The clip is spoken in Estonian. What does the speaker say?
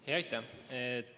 Aitäh!